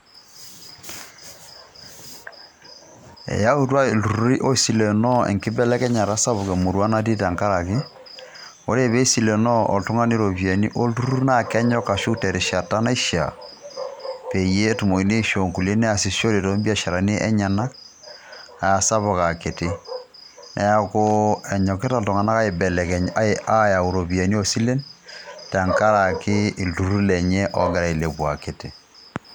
Eyautua iltururi oisilenoo ereteto sapuk emurua namanya tenkaraki, ore pisilenoo oltungani iropiyiani oltururr naa kenyok ashuk tenkata naishiaa peyie etumokini aishioo nkulie neasishore too biasharani enyenak asapuk akiti . neaku enyokita iltunganak aibelekeny ayau iropiyiani oo silen tenkaraki iltururri lenye ogira ailepu akiti.